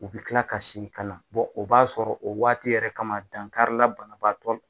U bɛ kila ka sinkala o b'a sɔrɔ o waati yɛrɛ kama dankarila banabaatɔ.